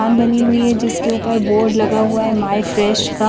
दुकान बनी हुई है जिसके ऊपर बोर्ड लगा हुआ है माई फ्रेश का--